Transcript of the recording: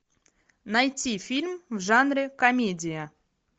найти фильм в жанре комедия